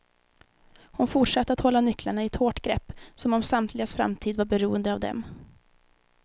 Hon fortsatte att hålla nycklarna i ett hårt grepp, som om samtligas framtid var beroende av dem.